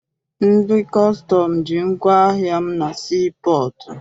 Ndị kọstọm ji ngwaahịa m na sii pọọtụ.